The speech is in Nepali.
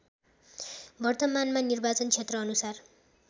वर्तमानमा निर्वाचन क्षेत्रानुसार